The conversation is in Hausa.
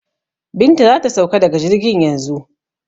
Binta za ta sauka daga jirgin yanzu.